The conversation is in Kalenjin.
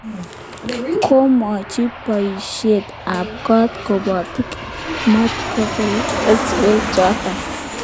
Komwochi poisyek ap kok kapotik matko kol keswek chotok